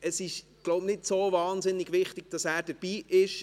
Es ist wohl nicht so wahnsinnig wichtig, dass er dabei ist.